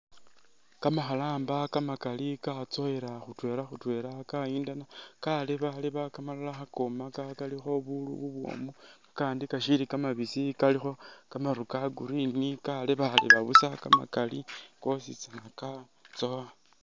Kamakhalamba kamakali katsowela khutwela khutwela kayindana khalebaleba kamalala khakomaka kalikho bubwomu, kakandi kashili kamabisi kalikho kamaru ka Green khalebaleba busa kamakali kositsana katsowa.